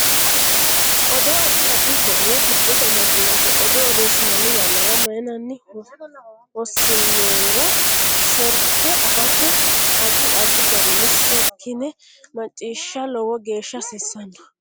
Odoo addi addi horo giddose amadinote odoo odeesinanni yannara mayiinara hasiinoyiiro serke afate addi addi garinni serkine maciisha lowo geesha hasiisanno